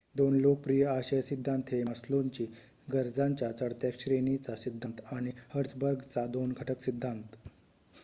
2 लोकप्रिय आशय सिद्धांत हे मास्लोंची गरजांच्या चढत्या श्रेणीचा सिद्धांत आणि हर्ट्झबर्गचा 2 घटक सिद्धांत